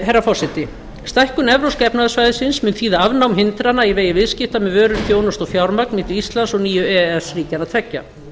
herra forseti stækkun evrópska efnahagssvæðisins mun þýða afnám hindrana í vegi viðskipta með vörur þjónustu og fjármagn milli íslands og nýju e e s ríkjanna tveggja